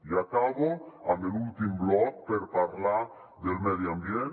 i acabo amb l’últim bloc per parlar del medi ambient